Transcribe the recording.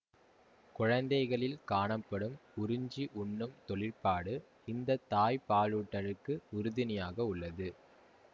குழந்தைகளில் காணப்படும் உறிஞ்சி உண்ணும் தொழிற்பாடு இந்த தாய்ப்பாலூட்டலுக்கு உறுதுணையாக உள்ளது